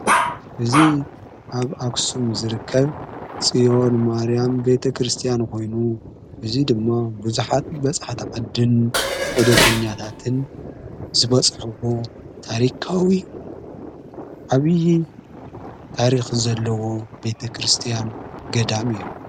እዚ ኣብ ኣክሱም ዝርከብ ጽዮን ማርያም ቤተ ክርስቲያን ኾይኑ እዙይ ድማ ብዙኃት በጽሕቲ ዓድን ዕዶተኛታትን ዝበጽሕዎ ታሪካዊ ኣብዪ ታሪኽ ዘለዎ ቤተ ክርስቲያን ገዳም እዩ።